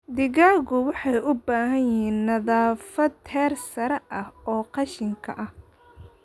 Digaaggu waxay u baahan yihiin nadaafad heer sare ah oo qashinka ah.